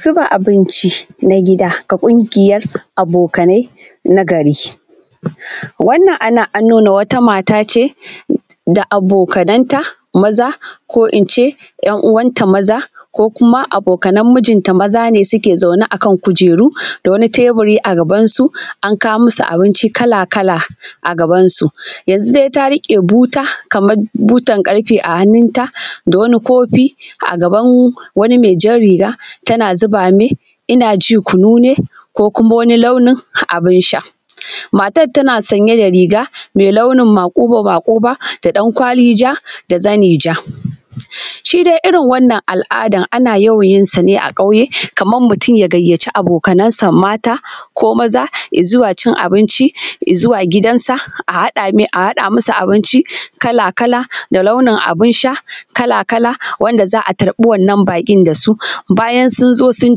Zuba abinci na gida ga kungiyar abokanai na gari, wannan a nan an nuna wata mata ce da abokanan ta maza ko ince ‘yan uwanta maza ko kuma abokanan mijin ta maza ne suke zaune a kan kujeru da wani teɓuri a gaban su an kawo musu abinci kala-kala a gabansu yanzu dai ta rike buta kamar butar karfe a hannun ta da wani kofi a gaban wani mai jan riga tana zuba mai ina ji kunu ne ko kuma wani launin abin sha, matan tana sanye da riga mai launin makuba makuba da dan kwali ja da zani ja, shi dai irin wannan al’ada ana yawan yin sa ne a kauye kamar mutum ya gayyaci abokansa mata ko maza zuwa cin abinci zuwa gidansa a haɗa masa abinci kala-kala da launin abin sha kala-kala wanda za a tarbi wannan bakin da su, bayan sun zo sun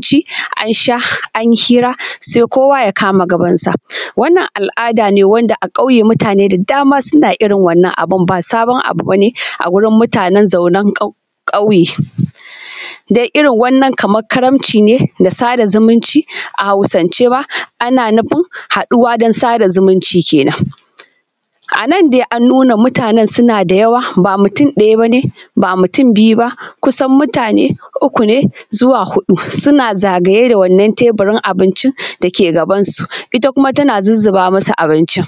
ci, an sha an yi hira sai kowa ya kama gabansa, wannan al’ada ne wanda a kauye mutane da dama suna irin wannan abun ba sabon abu bane a wurin mutanan zaunan kauye, da irin wannan kamar karamci ne da sada zumunci a hausance ana nufin haɗuwa don sada zumunci kenan, a na dai an nuna mutanan suna da yawa ba mutum ɗaya ne ba mutum biyu ba kusan mutane uku ne zuwa hudu suna zagaye da wannan teburin abincin da ke gabansu ita kuma tana zuzzuba masu abincin.